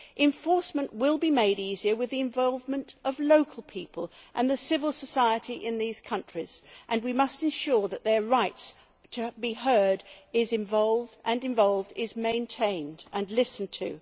Enforcement will be made easier with the involvement of local people and civil society in these countries, and we must ensure that their right to be heard and involved is maintained and listened to.